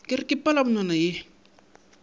ke re ka palamonwana ye